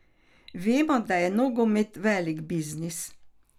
Vemo, da je nogomet velik biznis.